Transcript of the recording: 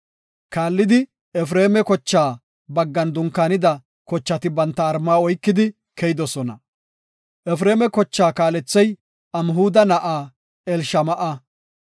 Kaallidi Efreema kochaa baggan dunkaanida kochati banta malla oykidi keyoosona. Efreema kochaa kaalethey Amhuda na7aa Elishama7a.